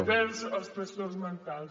envers els trastorns mentals